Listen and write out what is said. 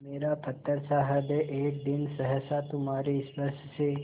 मेरा पत्थरसा हृदय एक दिन सहसा तुम्हारे स्पर्श से